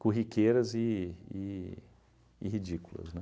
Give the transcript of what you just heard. corriqueiras e e e ridículas,